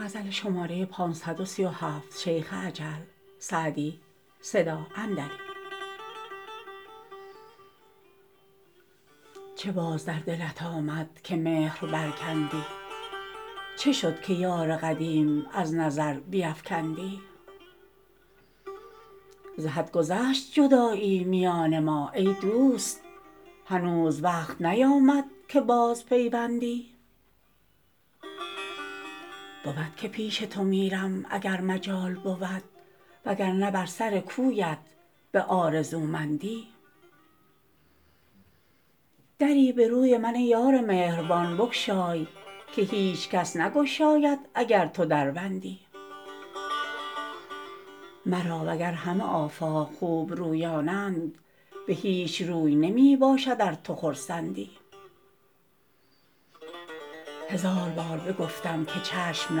چه باز در دلت آمد که مهر برکندی چه شد که یار قدیم از نظر بیفکندی ز حد گذشت جدایی میان ما ای دوست هنوز وقت نیامد که بازپیوندی بود که پیش تو میرم اگر مجال بود وگرنه بر سر کویت به آرزومندی دری به روی من ای یار مهربان بگشای که هیچ کس نگشاید اگر تو در بندی مرا وگر همه آفاق خوبرویانند به هیچ روی نمی باشد از تو خرسندی هزار بار بگفتم که چشم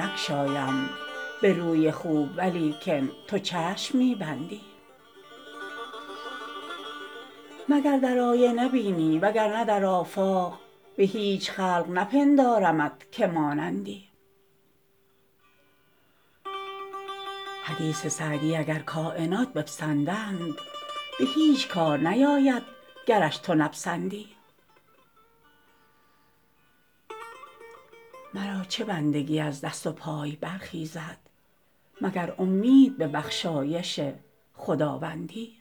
نگشایم به روی خوب ولیکن تو چشم می بندی مگر در آینه بینی وگرنه در آفاق به هیچ خلق نپندارمت که مانندی حدیث سعدی اگر کاینات بپسندند به هیچ کار نیاید گرش تو نپسندی مرا چه بندگی از دست و پای برخیزد مگر امید به بخشایش خداوندی